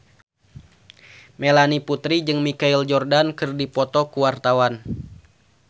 Melanie Putri jeung Michael Jordan keur dipoto ku wartawan